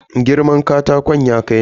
Girman katakon ya kai nawa?